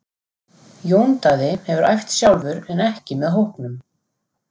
Jón Daði hefur æft sjálfur en ekki með hópnum.